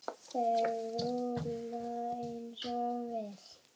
Þeir rúlla eins og vél.